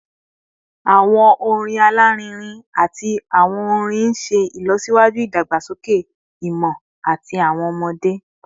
Awọn orin alarinrin ati awọn orin n ṣe ilọsiwaju idagbasoke imọ ti awọn ọmọde